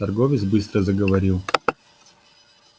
торговец быстро заговорил